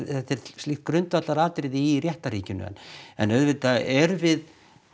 þetta er slíkt grundvallaratriði í réttarríkinu en auðvitað erum við